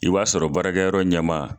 I b'a sɔrɔ baarakɛ yɔrɔ ɲɛmaa